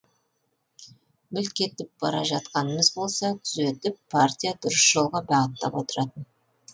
мүлт кетіп бара жатқанымыз болса түзетіп партия дұрыс жолға бағыттап отыратын